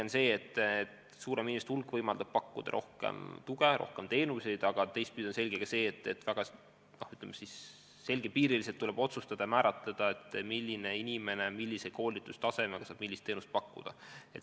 On selge, et suurem hulk inimesi võimaldab pakkuda rohkem tuge, rohkem teenuseid, aga teistpidi on selge ka see, et väga selgepiiriliselt tuleb määratleda, milline inimene millise koolitustasemega ühte või teist teenust pakkuda saab.